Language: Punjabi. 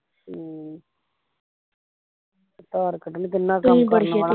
ਹਮ ਤੇ ਧਾਰ ਕੱਢਣੀ ਕਿੰਨਾ ਕੰਮ ਕਰਨਵਾਲਾ